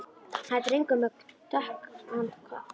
Það er drengur með dökkan koll.